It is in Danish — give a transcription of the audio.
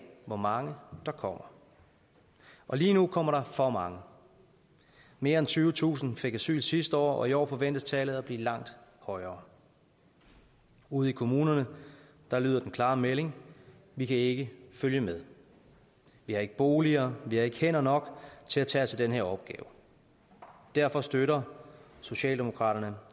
hvor mange der kommer lige nu kommer der for mange mere end tyvetusind fik asyl sidste år og i år forventes tallet at blive langt højere ude i kommunerne lyder den klare melding vi kan ikke følge med vi har ikke boliger vi har ikke hænder nok til at tage os af den her opgave derfor støtter socialdemokraterne